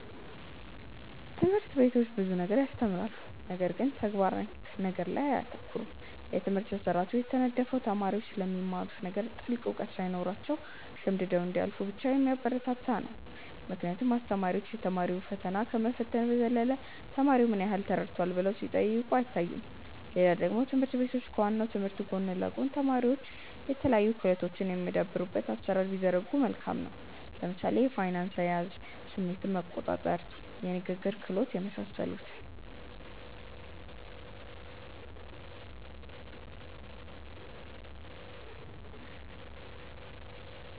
ትምህርት ቤቶች ብዙ ነገር ያስተምራሉ ነገር ግን ተግባር ነክ ነገር ላይ አያተኩሩም። የትምህርት ስርአቱ የተነደፈው ተማሪዎች ስለሚማሩት ነገር ጥልቅ እውቀት ሳይኖራቸው ሸምድደው እንዲያልፉ ብቻ የሚያበረታታ ነው ምክንያቱም አስተማሪዎች የ ቲዎሪ ፈተና ከመፈተን በዘለለ ተማሪው ምን ያህል ተረድቶታል ብለው ሲጠይቁ አይታዩም። ሌላ ደግሞ ትምህርት ቤቶች ከ ዋናው ትምህርት ጎን ለ ጎን ተማሪዎች የተለያዩ ክህሎቶች የሚያዳብሩበትን አሰራር ቢዘረጉ መልካም ነው። ለምሳሌ የፋይናንስ አያያዝ፣ ስሜትን መቆጣር፣ የንግግር ክህሎት የመሳሰሉትን